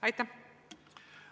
Aitäh!